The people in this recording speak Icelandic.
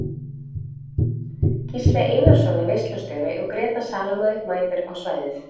Gísli Einarsson er veislustjóri og Gréta Salome mætir á svæðið.